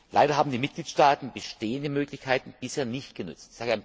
Leider haben die Mitgliedstaaten bestehende Möglichkeiten bisher nicht genutzt.